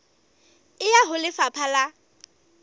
e ya ho lefapha la